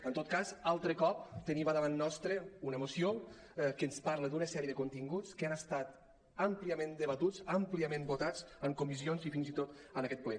en tot cas altre cop tenim a davant nostre una moció que ens parla d’una sèrie de continguts que han estat àmpliament debatuts àmpliament votats en comissions i fins i tot en aquest ple